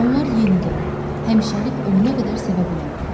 Onlar yenidən həmişəlik ölənə qədər sevə bilərdilər.